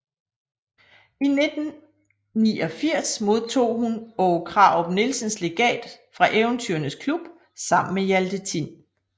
I 1989 modtog hun Åge Krarup Nielsens legat fra Eventyrenes klub sammen med Hjalte Tin